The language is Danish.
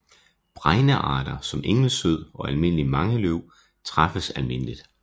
Bregnearter som engelsød og almindelig mangeløv træffes almindeligt